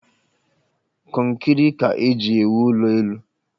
Kọnkịrị ka eji ewụ ụlọ elụ